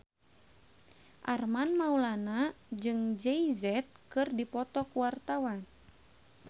Armand Maulana jeung Jay Z keur dipoto ku wartawan